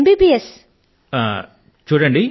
ఎమ్ BBS చదవాలని